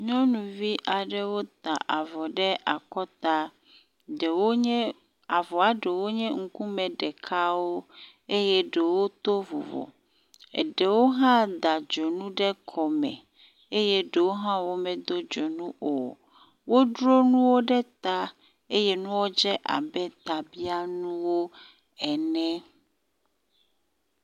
Nyɔnuvi aɖewo ta avɔ ɖ akɔta. Ɖewo nye avɔa ɖewo nye ŋkume ɖekawo eye ɖewo to vovovo ɖewo hã da dzonu ɖe kɔme eye ɖewo hã womedo dzonu o. wodro nuwo ɖe ta eye nuawo dze abe tabianuwo ene.